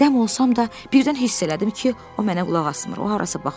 Dəm olsam da birdən hiss elədim ki, o mənə qulaq asmır, o harasa baxır.